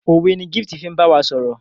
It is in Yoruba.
òwe ní Gift fín bawa sọrọ.